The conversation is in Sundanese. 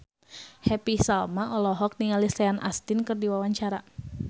Happy Salma olohok ningali Sean Astin keur diwawancara